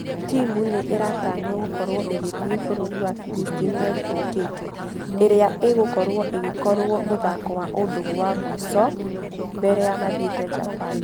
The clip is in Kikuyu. Timũ nĩìmĩratanywo gũkorwo igĩthie bũrũri wa Phillipines mweri ũkĩte . Ĩrĩa ĩgũkorwo ĩgĩkorwo mũthako wa ũndũgũ wa mũisho mbere ya mathiete japan.